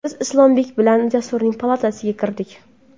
Biz Islombek bilan Jasurning palatasiga kirdik.